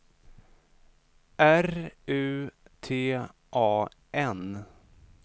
R U T A N